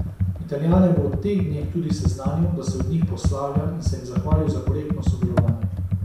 Italijane bo v teh dneh tudi seznanil, da se od njih poslavlja, in se jim zahvalil za korektno sodelovanje.